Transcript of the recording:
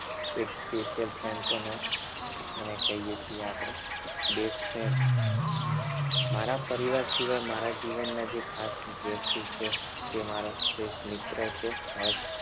એક special friend પણ હોય એને કહીએ છીએ આપણે best friend મારા પરિવાર સિવાય મારા જીવન માં જે ખાસ વ્યક્તિ છે તે મારા શ્રેષ્ઠ મિત્ર છે હર્ષ